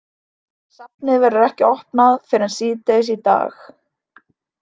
Safnið verður ekki opnað fyrr en síðdegis í dag.